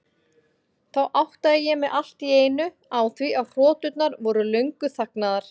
Þá áttaði ég mig allt í einu á því að hroturnar voru löngu þagnaðar.